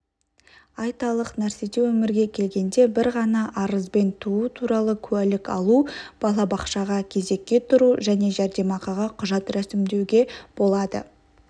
айталық нәрсете өмірге келгенде бір ғана арызбен туу труалы куәлік алу балабақшаға кезекке тұру және жәрдемақыға құжат рәсімдеуге болады